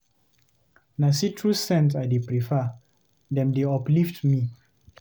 Na citrus scents I dey prefer, dem dey uplift me.